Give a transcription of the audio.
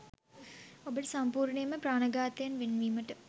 ඔබට සම්පූර්ණයෙන්ම ප්‍රාණඝාතයෙන් වෙන්වීමට